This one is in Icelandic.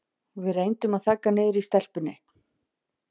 Við reyndum að þagga niður í stelpunni.